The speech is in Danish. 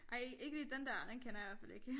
Ej ikke lige den der den kender jeg i hvert fald ikke